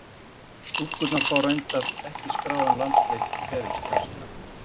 Stúlkurnar fá reyndar ekki skráðan landsleik í ferilskrá sína.